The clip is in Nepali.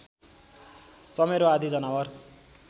चमेरो आदि जनावर